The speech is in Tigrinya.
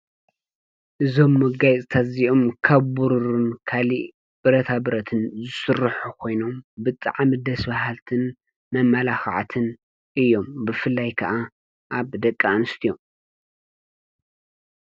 ዞም መጋይ ዘተዚኡም ከቦሩርን ካሊእ ብረታብረትን ስርኅ ኾይኖም ብጥዓ ምደስ በሃልትን መመላኽዓትን እዮም ብፍላይ ከዓ ኣብ ደቂ ኣንስት እዮም።